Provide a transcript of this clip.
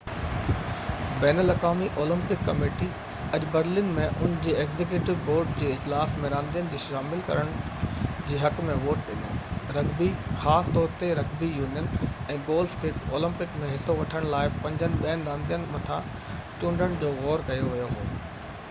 بين الاقوامي Olympic committee اڄ Berlin ۾ ان جي ايگزيڪيوٽو بورڊ جي اجلاس ۾ راندين کي شامل ڪرڻ جي حق ۾ ووٽ ڏنو رگبي خاص طور تي رگبي يونين ۽ گولف کي اولمپڪ ۾ حصو وٺڻ لاءِ پنجن ٻين راندين مٿان چونڊڻ جو غور ڪيو ويو هو